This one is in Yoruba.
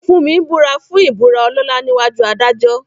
Funmi búra fún ìbúra ọlọ́lá níwájú adájọ́.